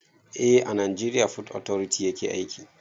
Eh a najeriya fot otoriti yake aiki